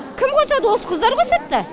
кім қосады осы қыздар қосады да